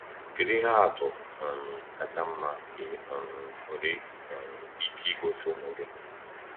Kedu ihe atụ um kacha mma ị um nwere um ike igosi ụmụ gị?